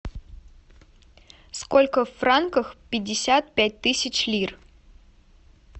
сколько в франках пятьдесят пять тысяч лир